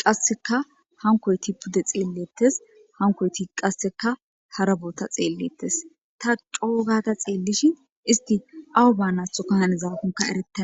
qasseka hankoyti pudde xeellettes hankoyti qasseka hara bootta xeellettes ta c'oo gada xeellishi isti awu baanathokka hannizaakonka erettena